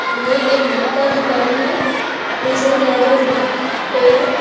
ये एक बुक का दुकान है राजा बुक ।